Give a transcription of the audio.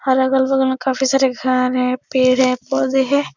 अलग -अलग जगह में काफी सारे घर हैं। पेड़ हैं पौधे हैं।